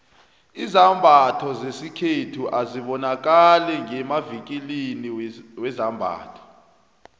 izambatho zesikhethu azibonakali ngemavikilini wezambatho